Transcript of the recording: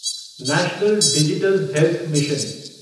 national digital health mission